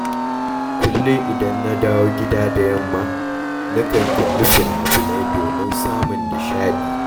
Kullum idan na dawo gida da yamma, nakan kalli fina finai domin samun nishaɗi.